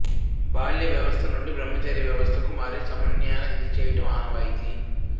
బాల్యావస్థ నుండి బ్రహ్మచర్యావస్థకు మారే సమయాన ఇది చేయడం ఆనవాయితీ